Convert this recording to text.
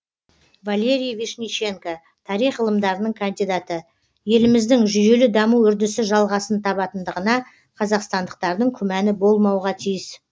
валерий вишниченко тарих ғылымдарының кандидаты еліміздің жүйелі даму үрдісі жалғасын табатындығына қазақстандықтардың күмәні болмауға тиіс